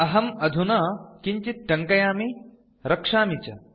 अहम् अधुना किञ्चित् टङ्कयामि रक्षामि च